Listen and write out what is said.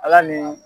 Ala ni